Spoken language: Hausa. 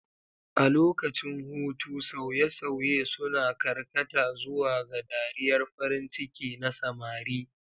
A lokacin hutu, sauye-sauye suna karkata zuwa ga dariyar farin ciki na samari.